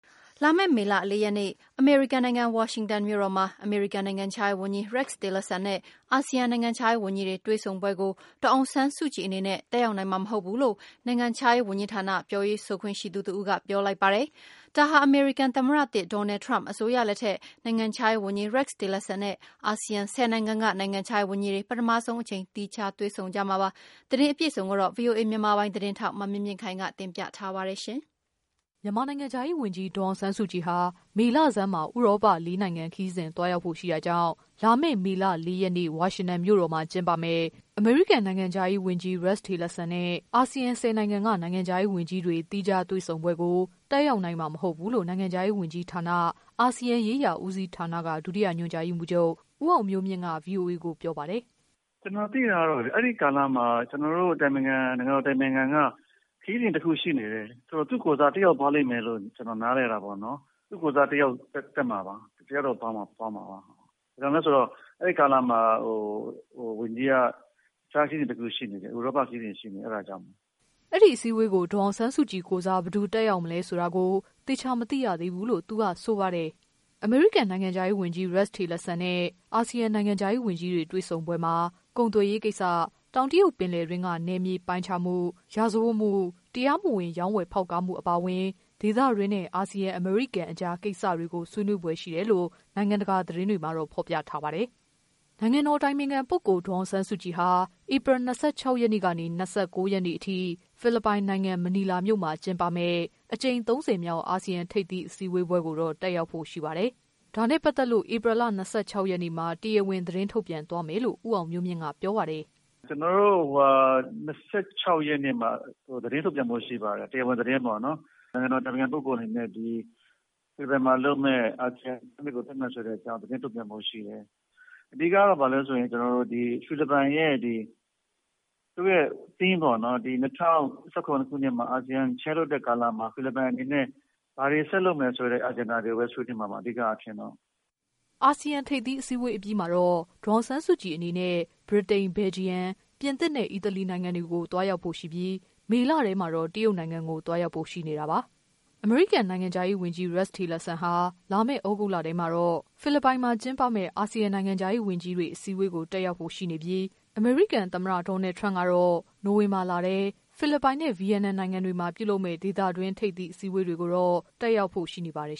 လာမယ့် မေလ ၄ရက်နေ့ အမေရိကန်နိုင်ငံ ဝါရှင်တန်မြို့တော်မှာ အမေရိကန် နိုင်ငံခြားရေးဝန်ကြီး Rex Tillerson နဲ့ အာဆီယံ နိုင်ငံခြားရေး ဝန်ကြီးတွေ တွေ့ဆုံပွဲကို ဒေါ်အောင်ဆန်းစုကြည် အနေနဲ့ တက် ရောက်နိုင်မှာ မဟုတ်ဘူးလို့ နိုင်ငံခြားရေး ဝန်ကြီးဌာန ပြောရေးဆိုခွင့်ရှိသူက ပြောလိုက်ပါတယ်။ ဒါဟာ အမေရိကန် သမ္မတသစ် ဒေါ်နယ်ထရမ့် အစိုးရလက်ထက် နိုင်ငံခြားရေးဝန်ကြီး Rex Tillerson နဲ့ အာဆီယံ ၁၀နိုင်ငံက နိုင်ငံခြားရေးဝန်ကြီးတွေ ပထမဆုံးအကြိမ် သီးခြားတွေ့ဆုံကြမှာပါ။ သတင်းအ ပြည့်အစုံကိုတော့ ဗွီ အိုအေ သတင်းထောက် မမြင့်မြင့်ခိုင်က တင်ပြပေးပါမယ်။ မြန်မာ နိုင်ငံခြားရေးဝန်ကြီး ဒေါ်အောင်ဆန်းစုကြည်ဟာ မေလဆန်းမှာ ဥရောပ လေးနိုင်ငံ ခရီးစဉ် သွား ရောက်ဖို့ ရှိတာကြောင့် လာမယ့် မေလ ၄ရက်နေ့ ဝါရှင်တန်မြို့တော်မှာ ကျင်းပမယ့် အမေရိကန် နိုင်ငံ ခြားရေး ဝန်ကြီး Rex Tillerson နဲ့ အာဆီယံ ၁၀ နိုင်ငံက နိုင်ငံခြားရေး ဝန်ကြီးတွေ သီးခြားတွေ့ဆုံ ပွဲကို တက်ရောက်နိုင်မှာ မဟုတ်ဘူးလို့ နိုင်ငံခြားရေး ဝန်ကြီးဌာန၊ အာဆီယံရေးရာ ဦးစီးဌာနက ဒုတိယ ညွှန် ကြား ရေးမှူးချုပ် ဦးအောင်မျိုးမြင့်က ဗွီအိုအေကို ပြောပါတယ်။ “ ကျနော်သိတာကတော့ အဲဒီကာလမှာ ကျနော်တို့ နိုင်ငံတော် အတိုင်ပင်ခံက ခရီးစဉ်တခုရှိနေတယ်။ ဆိုတော့ သူ့ကိုယ်စား တယောက်သွားမယ်လို့ နားလည်တာပေါ့နော် ။ သူ့ကိုယ်စား တယောက်တော့ သွားမှာပါ။ ဘာကြောင့်လဲဆိုတော့ အဲဒီကာလမှာ ဝန်ကြီးက ဥရောပ ခရီးစဉ်တခုရှိနေတယ် အဲဒါကြောင့်။” အဲ့ဒီ အစည်းအဝေးကို ဒေါ်အောင်ဆန်းစုကြည်ကိုယ်စား ဘယ်သူတက်မလဲဆိုတာကို သေချာ မသိရသေးဘူးလို့ သူက ဆိုပါတယ်။ အမေရိကန် နိုင်ငံခြားရေးဝန်ကြီး Rex Tillerson နဲ့ အာဆီယံနိုင်ငံခြားရေးဝန်ကြီးတွေ တွေ့ဆုံပွဲမှာ ကုန် သွယ်ရေးကိစ္စ၊ တောင်တရုတ် ပင်လယ်တွင်းက နယ်မြေပိုင်းခြားမှု၊ ရာဇဝတ်မှု၊ တရားမဝင် ရောင်းဝယ် ဖောက်ကားမှု အပါအဝင် ဒေသတွင်းနဲ့ အာဆီယံ- အမေရိကန်အကြားကိစ္စတွေကို ဆွေးနွေးဖွယ် ရှိတယ် လို့ နိုင်ငံတကာ သတင်းတွေမှာ ဖော်ပြထားပါတယ်။ နိုင်ငံတော် အတိုင်ပင်ခံပုဂ္ဂိုလ် ဒေါ်အောင်ဆန်းစုကြည်ဟာ ဧပြီလ ၂၆ရက်နေ့ကနေ ၂၉ ရက်နေ့အထိ ဖိ လစ်ပိုင်နိုင်ငံ မနီလာမြို့မှာ ကျင်းပမယ့် အကြိမ် ၃၀မြောက် အာဆီယံ ထိပ်သီးအစည်းအဝေးပွဲကိုတော့ တက်ရောက်ဖို့ ရှိပါတယ်။ ဒါနဲ့ ပတ်သက်လို့ ဧပြီ ၂၆ရက်နေ့မှာ တရားဝင် သတင်းထုတ်ပြန်သွားမယ် လို့ ဦးအောင်မျိုးမြင့်က ပြောပါတယ်။ “ကျနော်တို့ ဧပြီ ၂၆ရက်နေ့မှာ တရားဝင် သတင်းထုတ်ပြန်သွားဖို့ရှိပါတယ်။ နိုင်ငံတော် အတိုင်ပင်ခံပုဂ္ဂိုလ်အနေနဲ့ ဒီဧပြီမှာလုပ်မယ့် အာဆီယံ Summit ကိုတက်မယ်ဆိုတဲ့အကြောင်း သတင်းထုတ်ပြန်သွားဖို့ရှိပါတယ်။ အဓိကတော့ကျနေ်ာတို့ ဖိလစ်ပိုင် ရဲ့ Theme ပေါ့နော် ၂၀၁၇ မှာ အာဆီယံ Chair လုပ်တဲ့ကာလမှာ ဖိလစ်ပိုင်အနေနဲ့ ဘာတွေဆက်လုပ်မယ်ဆိုတဲ့ Agenda တွေကိုပဲ ဆွေးနွေးမှာပါ အဓိက အားဖြင့်တော့။” အာဆီယံ ထိပ်သီးအစည်းအဝေး အပြီးမှာတော့ ဒေါ်အောင်ဆန်းစုကြည်အနေနဲ့ ဗြိတိန်၊ ဘယ်လ်ဂျီယံ၊ ပြင်သစ်နဲ့ အီတလီနိုင်ငံတွေကို သွားရောက်ဖို့ရှိနေပြီး မေလထဲမှာတော့ တရုတ်နိုင်ငံကို သွားရောက်ဖို့ ရှိနေတာပါ။ အမေရိကန် နိုင်ငံခြားရေးဝန်ကြီး Rex Tillerson ဟာ လာမယ့် သြဂုတ်လထဲမှာဖိလစ်ပိုင်မှာကျင်းပမယ့် အာဆီယံနိုင်ငံခြားရေး ဝန်ကြီးတွေ အစည်းအဝေး ကို တက်ရောက်ဖို့ ရှိနေပြီး အမေရိကန် သမ္မတ ဒေါ်နယ် ထရမ့်ကတော့ နိုဝင်ဘာလထဲ ဖိလစ်ပိုင်နဲ့ ဗီယက်နမ်နိုင်ငံတွေမှာ ပြုလုပ်မယ့် ဒေသတွင်း ထိပ်သီး အစည်းအဝေးတွေကို တက်ရောက်ဖို့ ရှိနေပါတယ်